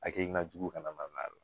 Hakilina jugu kana na n'a la